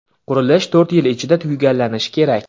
Qurilish to‘rt yil ichida tugallanishi kerak.